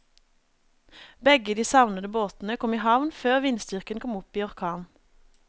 Begge de savnede båtene kom i havn før vindstyrken kom opp i orkan.